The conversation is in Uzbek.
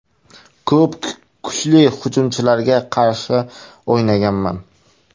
Ko‘p kuchli hujumchilarga qarshi o‘ynaganman.